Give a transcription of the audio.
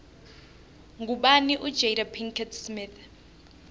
ngubani ujada pickett smith